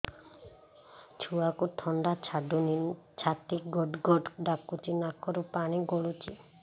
ଛୁଆକୁ ଥଣ୍ଡା ଛାଡୁନି ଛାତି ଗଡ୍ ଗଡ୍ ଡାକୁଚି ନାକରୁ ପାଣି ଗଳୁଚି